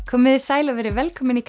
komiði sæl og verið velkomin í